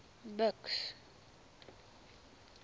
buks